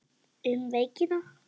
Um veikina